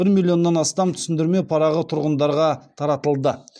бір миллионнан астам түсіндірме парағы тұрғындарға таратылды